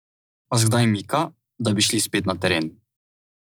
Vas kdaj mika, da bi šli spet na teren?